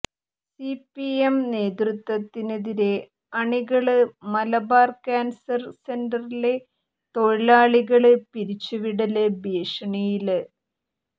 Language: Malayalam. സിപിഎം നേതൃത്വത്തിനെതിരെ അണികള് മലബാര് കാന്സര് സെന്ററിലെ തൊഴിലാളികള് പിരിച്ചുവിടല് ഭീഷണിയില്